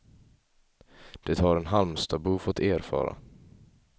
Det har en halmstadbo fått erfara.